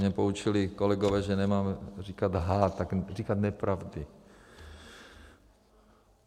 Mě poučili kolegové, že nemáme říkat lhát, tak říkám nepravdy.